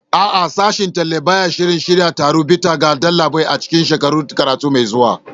A'a, Sashen Talla ba ya shirin shirya taron bita ga ɗalibai a cikin shekarar karatu mai zuwa.